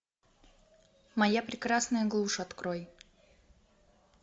моя прекрасная глушь открой